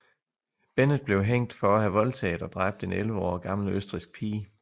Bennett blev hængt for at have voldtaget og dræbt en 11 år gammel østrigsk pige